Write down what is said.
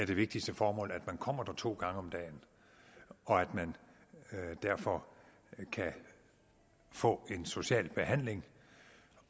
vigtigste formål er at man kommer der to gange om dagen og at man derfor kan få en social behandling